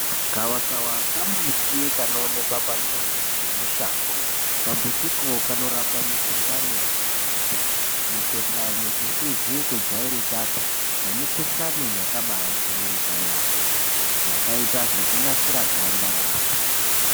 Gavakava kambuti kanooneka pamuzi nemushango. Kambutiko kanorapa mikuhlani yakati kuti. Mikuhlani isizi kujairikapi nemikhuhlani yakaba yajairika yakaita sekunasira ganda reanhu.